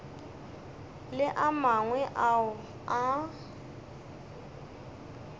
le a mangwe ao a